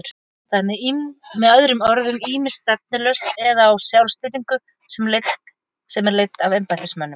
Það er með öðrum orðum ýmist stefnulaust eða á sjálfstýringu sem er leidd af embættismönnum.